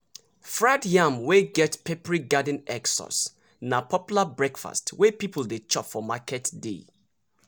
fried yam wey get peppery garden egg sauce na popular breakfast wey people dey chop for market day.